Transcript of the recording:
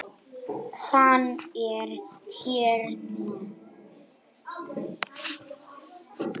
Hann er hérna.